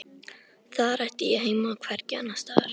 Þar ætti ég heima og hvergi annarstaðar.